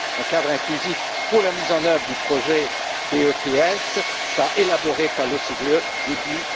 Un cadre inclusif pour la mise en œuvre du projet BEPS sera élaboré par l'OCDE, début